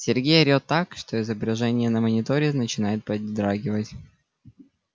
сергей орет так что изображение на мониторе начинает подрагивать